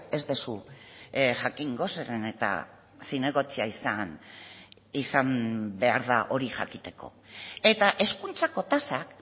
ez duzu jakingo zeren eta zinegotzia izan behar da hori jakiteko eta hezkuntzako tasak